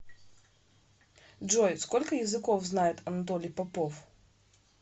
джой сколько языков знает анатолий попов